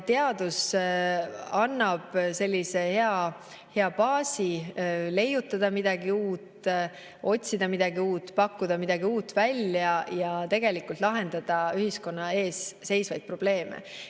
Teadus annab hea baasi leiutada midagi uut, otsida midagi uut, pakkuda midagi uut välja ja lahendada ühiskonna ees seisvaid probleeme.